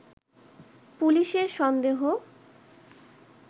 পুলিশের সন্দেহ